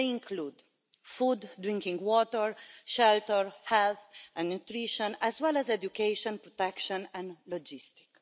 They include food, drinking water, shelter, health and nutrition, as well as education, protection and logistics.